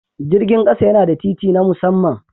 Jirgin ƙasa yana da titi na musamman.